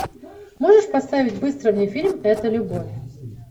можешь поставить быстро мне фильм это любовь